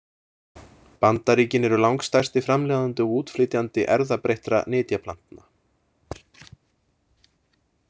Bandaríkin eru langstærsti framleiðandi og útflytjandi erfðabreyttra nytjaplantna.